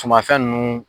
Sumanfɛn ninnu